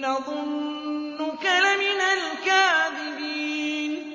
نَّظُنُّكَ لَمِنَ الْكَاذِبِينَ